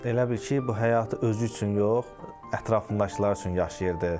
Elə bil ki, bu həyatı özü üçün yox, ətrafındakılar üçün yaşayırdı.